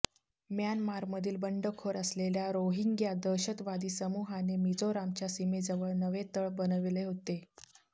म्यानमारमधील बंडखोर असलेल्या रोहिंग्या दहशतवादी समूहाने मिझोरामच्या सीमेजवळ नवे तळ बनवले होते